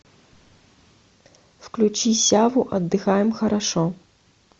включи сяву отдыхаем хорошо